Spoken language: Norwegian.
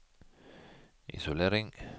isolering